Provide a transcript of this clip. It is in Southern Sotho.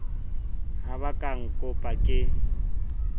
ho ba ka ncop ke